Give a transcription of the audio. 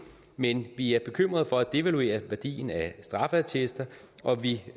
men vi er bekymrede for at devaluere værdien af straffeattester og vi